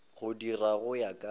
go dirwa go ya ka